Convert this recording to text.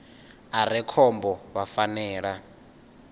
a re khombo vha fanela